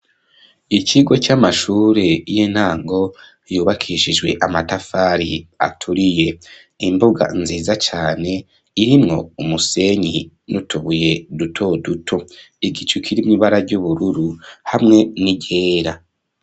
Ikigo c'amashuri y'intango yubakishijwe amatafari aturiye imbuga nziza cane irimwo umusenyi nutubuye duto duto igicukiri mibara ry'ubururu hamwe n'iryera.